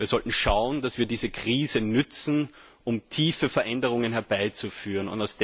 Wir sollten schauen, dass wir diese Krise nützen, um tiefe Veränderungen herbeizuführen.